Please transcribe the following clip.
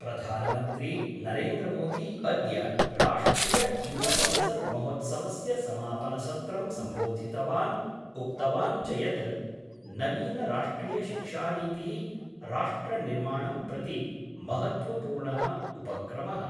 प्रधानमन्त्री नरेन्द्रमोदी अद्य राष्ट्रिययुवसंसद्महोत्सवस्य समापनसत्रं सम्बोधितवान् उक्तवान् च यत् नवीनराष्ट्रियशिक्षानीतिः राष्ट्रनिर्माणं प्रति महत्वपूर्णः उपक्रमः।